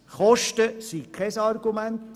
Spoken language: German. Zweitens sind Kosten kein Argument.